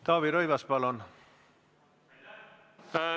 Taavi Rõivas, palun!